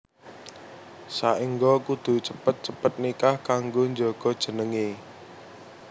Saéngga kudu cepet cepet nikah kanggo njaga jenengé